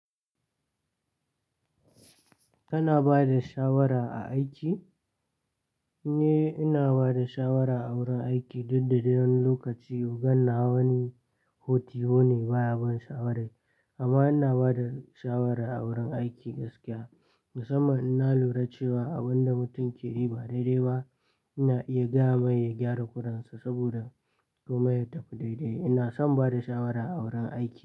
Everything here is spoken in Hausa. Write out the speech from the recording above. Kana bada shawara a aiki? Ni ina bada shawara a wurin aiki duk da dayan lokaci gana wani hoti hone baya bin shawarai. Amma ina bada shawara a wurin aiki gaskiya. Musamil ina lura cewa abun da mutum ke rera daidai ba ina iya gaya mai ya gyara kuransa saboda komai ya tafi daidai. Ina son bada shawara a wurin aiki.